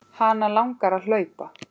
Hana langar að hlaupa.